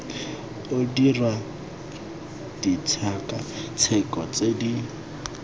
o dirwa ditshekatsheko tse di